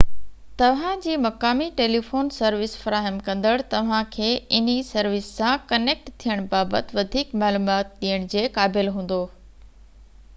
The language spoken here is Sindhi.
توهان جي مقامي ٽيليفون سروس فراهم ڪندڙ توهانکي انهي سروس سان ڪنيڪٽ ٿيڻ بابت وڌيڪ معلومات ڏيڻ جي قابل هوندو